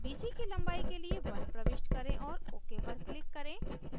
bc की लंबाई के लिए 1 प्रविष्ट करें और ok पर click करें